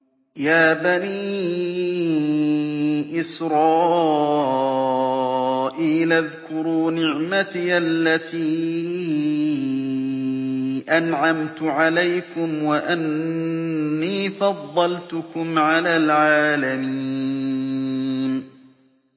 يَا بَنِي إِسْرَائِيلَ اذْكُرُوا نِعْمَتِيَ الَّتِي أَنْعَمْتُ عَلَيْكُمْ وَأَنِّي فَضَّلْتُكُمْ عَلَى الْعَالَمِينَ